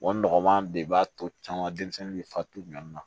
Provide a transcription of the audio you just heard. nɔgɔman de b'a to caman denmisɛnnin bɛ fatu ɲɔ na